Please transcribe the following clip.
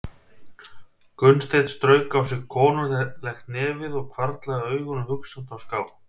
Gunnsteinn strauk á sér konunglegt nefið og hvarflaði augunum hugsandi á ská.